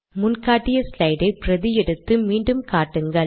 முன் காட்டிய ஸ்லைட் ஐ பிரதி எடுத்து மீண்டும் காட்டுங்கள்